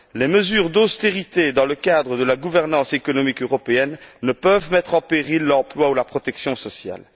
Les mesures d'austérité dans le cadre de la gouvernance économique européenne ne peuvent mettre en péril l'emploi ou la protection sociale.